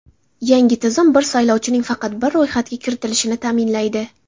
Yangi tizim bir saylovchining faqat bir ro‘yxatga kiritilishini ta’minlaydi.